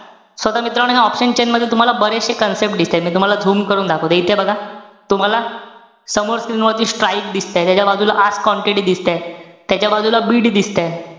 So आता मित्रांनो, हे option chain मध्ये तुम्हाला बरेचशे concept दिसेल. मी तुम्हाला zoom करून दाखवतो. हे बघा. तुम्हाला समोर screen वरती strike दिसताय. ह्याच्या बाजूला आठ qantity दिसताय. त्याच्या बाजूला bid दिसतंय.